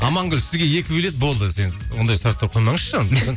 амангүл сізге екі билет болды ондай сұрақтар қоймаңызшы